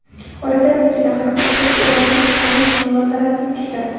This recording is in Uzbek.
Oradan ikki daqiqa o‘tib Urosha Spayich muvozanatni tikladi.